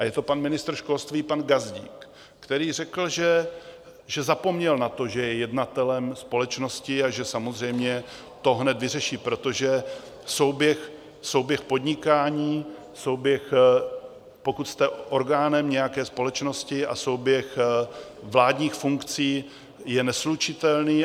A je to pan ministr školství pan Gazdík, který řekl, že zapomněl na to, že je jednatelem společnosti a že samozřejmě to hned vyřeší, protože souběh podnikání, souběh, pokud jste orgánem nějaké společnosti, a souběh vládních funkcí je neslučitelný.